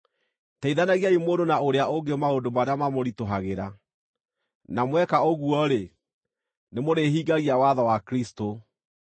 Teithanagiai mũndũ na ũrĩa ũngĩ maũndũ marĩa mamũritũhagĩra, na mweka ũguo-rĩ, nĩmũrĩhingagia watho wa Kristũ.